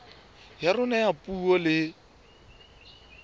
ya rona ya puo le